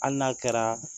Hali n'a kɛra